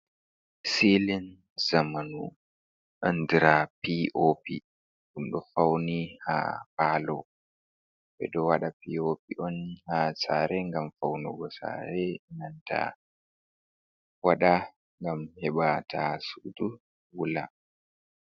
Silin zamanu, andira pi o pi ɗum ɗo fauni ha paalo ɓeɗo waɗa pi o pi’on ha sare ngam faunugo sare enanta waɗa ngam heɓata sudu wula.